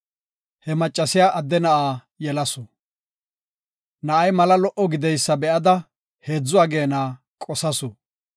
He maccasiya adde na7a yelasu. Na7ay mala lo77o gideysa be7ada heedzu ageena qosasu.